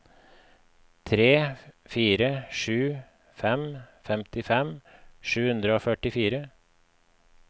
tre fire sju fem femtifem sju hundre og førtifire